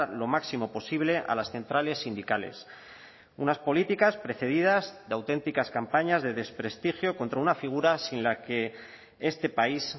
lo máximo posible a las centrales sindicales unas políticas precedidas de auténticas campañas de desprestigio contra una figura sin la que este país